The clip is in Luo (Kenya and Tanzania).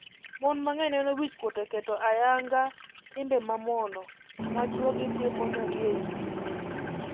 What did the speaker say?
Mon mang’eny neno wichkuot e keto ayanga timbe mamono ma chuogi timonegi ei udi.